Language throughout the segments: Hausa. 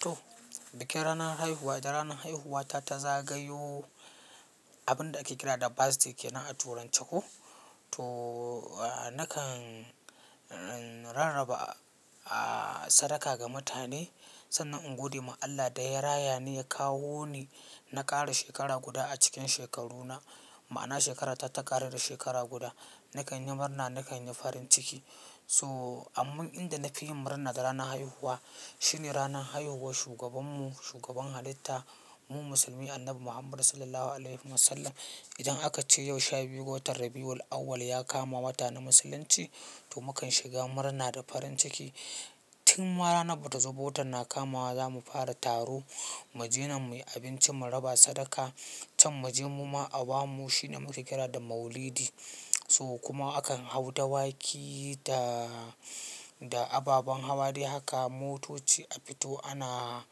To bikin ranar haihuwa da ranar haihuwata ta zagayo, abun da ake kira da birthday kenan a turanci ko. To nakan rarraba sadaka ga mutane sannan in gode ma Allah da ya raya ni ya kawo ni na ƙara shekara guda a cikin shekaruna. Ma'ana shekarata ta ƙaru da shekara guda. Nakan yi murna, nakan yi farin ciki. So amma inda na fi yin murna da ranar haihuwa shine ranar haihuwar shugabanmu, shugaban halitta mu musulmi, Annabi Muhammadu sallallahu alaihi wasallam. Idan aka ce yau sha biyu, ga watan Rabbi'ul awwal ya kama wata na musulunci to mukan shiga murna da farin ciki. Tun ma ranan bata zo ba, watan na kamawa zamu fara taro, mu ji nan mu yi abinci, mu raba sadaka can, mu je mu ma a ba mu shine muka kira da Maulidi. So kuma akan hau dawaki da, da ababen hawa dai haka motoci a fito. Ana,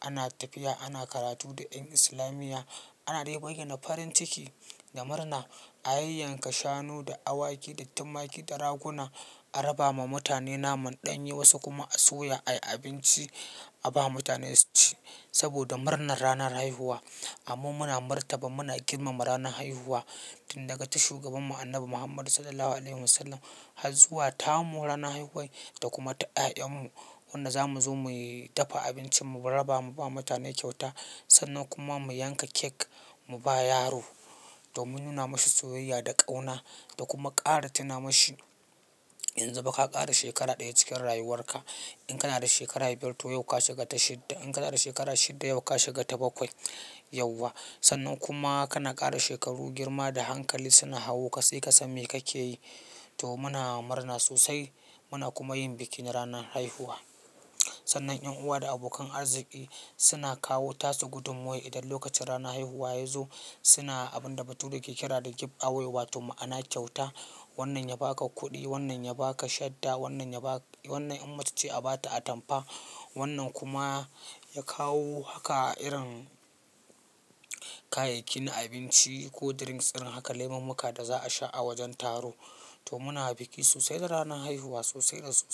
ana tafiya, ana karatu da 'yan islamiyya, ana dai bayyana farin ciki da murna. A yanyanka shanu da awaki da tumaki da raguna a raba ma mutane naman ɗanye, wasu kuma a soya ayi abinci a ba mutane su ci saboda murnar ranar haihuwa. Amma muna martaba muna girmama ranar haihuwa tun daga ta shugabanmu Annabi Muhammadu sallallahu alaihi wasallam har zuwa ta mu ranar haihuwa da kuma ta ƴaƴan mu. Wanda za mu zo mu yi dafa abinci mu raba, mu ba mutane kyauta sannan kuma mu yanka cake mu ba yaro domin nuna mashi soyayya da ƙauna da kuma ƙara tuna mashi yanzu fa ka ƙara shekara ɗaya cikin rayuwarka. In kana da shekara biyar to yau ka shiga ta shidda. In kana da shekara shidda yau ka shiga ta bakwai yauwa. Sannan kuma kana ƙara shekaru, girma da hankali suna hawo ka sai ka san me kake yi. To muna murna sosai. Muna kuma yin bikin ranar haihuwa. Sannan ƴan uwa da abokan arziki suna kawo tasu gudummuwar idan lokacin ranar haihuwa ya zo. Suna abun da bature ke kira da gift away wa to ma'ana kyauta. Wannan ya ba ka kuɗi, wannan ya ba ka shadda, wannan ya ba-- wannan in macece a ba ta atampa. Wannan kuma ya kawo haka irin kayayyakin abinci ko drinks irin haka lemumuka da za a sha a wajen taro. To muna bikin sosai da ranar haihuwa sosai da sosai.